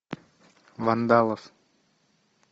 вандалов